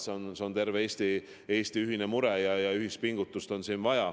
Nii et see on terve Eesti ühine mure ja siin on vaja ühispingutust.